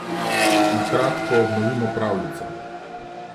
Na kratko obnovimo pravljico.